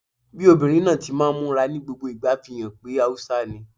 Bí obìnrin náà ti máa ń múra ní gbogbo ìgbà fi hàn pé Haúsá ni